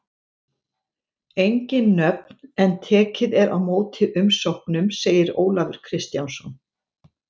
Engin nöfn en tekið er á móti umsóknum, segir Ólafur Kristjánsson.